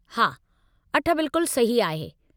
हा, अठ बिल्कुलु सही आहे।